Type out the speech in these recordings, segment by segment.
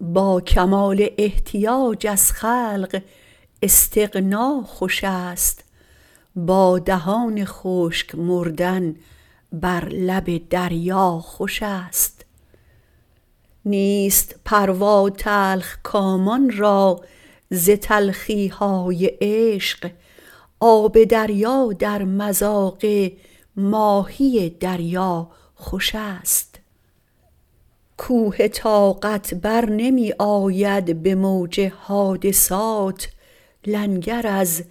با کمال احتیاج از خلق استغنا خوش است با دهان خشک مردن بر لب دریا خوش است نیست پروا تلخ کامان را ز تلخی های عشق آب دریا در مذاق ماهی دریا خوش است کوه طاقت برنمی آید به موج حادثات لنگر از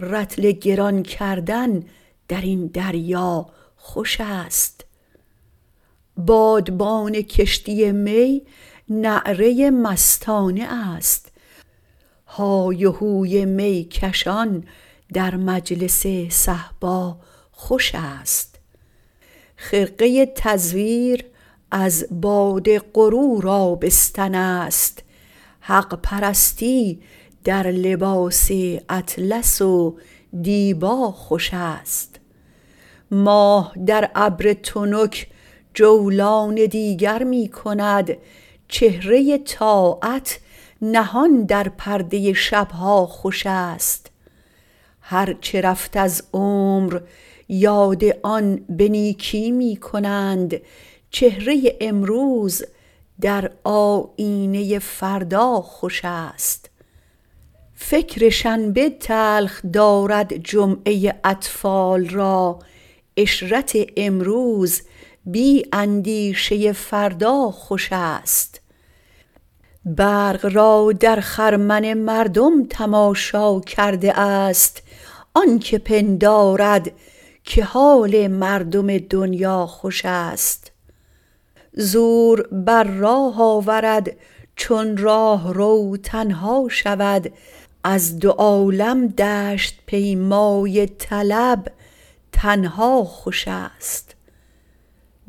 رطل گران کردن در این دریا خوش است بادبان کشتی می نعره مستانه است های وهوی می کشان در مجلس صهبا خوش است خرقه تزویر از باد غرور آبستن است حق پرستی در لباس اطلس و دیبا خوش است ماه در ابر تنک جولان دیگر می کند چهره طاعت نهان در پرده شب ها خوش است هر چه رفت از عمر یاد آن به نیکی می کنند چهره امروز در آیینه فردا خوش است فکر شنبه تلخ دارد جمعه اطفال را عشرت امروز بی اندیشه فردا خوش است برق را در خرمن مردم تماشا کرده است آن که پندارد که حال مردم دنیا خوش است زور بر راه آورد چون راهرو تنها شود از دو عالم دشت پیمای طلب تنها خوش است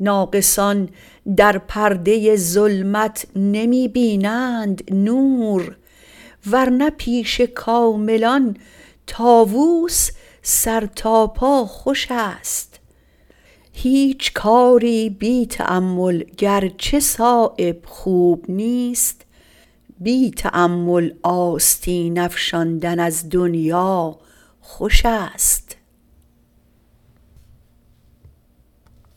ناقصان در پرده ظلمت نمی بینند نور ورنه پیش کاملان طاوس سر تا پا خوش است هیچ کاری بی تأمل گرچه صایب خوب نیست بی تأمل آستین افشاندن از دنیا خوش است